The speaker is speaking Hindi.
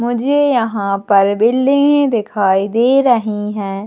मुझे यहाँ पर बिल्डिंग दिखाई दे रही है।